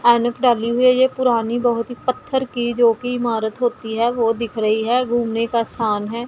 ये पुरानी बहोत ही पत्थर की जोकि इमारत होती है वो दिख रही है घूमने का स्थान है।